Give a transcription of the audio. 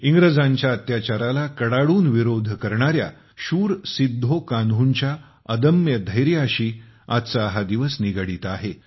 इंग्रजांच्या अत्याचाराला कडाडून विरोध करणाऱ्या शूर सिद्धो कान्हूंच्या अदम्य धैर्याशी आजचा हा दिवस निगडीत आहे